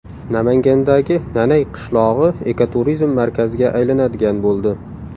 Namangandagi Nanay qishlog‘i ekoturizm markaziga aylanadigan bo‘ldi.